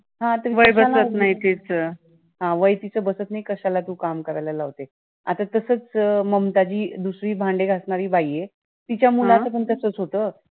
हा ते वय बसत नाही तिचं. हा वय तिचं बसत नाही, कशाला तू काम करायला लावते? आता तसचं ममता जी दुसरी भांडे घासणारी बाई आहे, तिच्या मुलाचं पण तसचं होत.